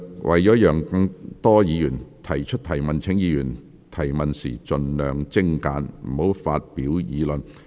為讓更多議員提問，請議員提問時盡量精簡，不要發表議論。